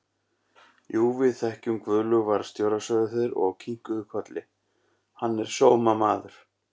Jú, við þekkjum Guðlaug varðstjóra, sögðu þeir og kinkuðu kolli, hann er sómamaður!